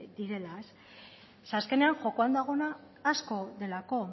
direla zeren azkenean jokoan dagoena asko delako